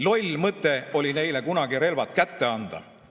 Loll mõte oli neile kunagi relvad kätte anda.